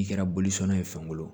I kɛra bolisɔn ye fankelenw